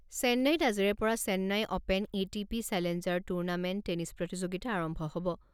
চেন্নাইত আজিৰে পৰা Chennai open A T P challenger tournament tennis প্ৰতিযোগিতা আৰম্ভ হ'ব।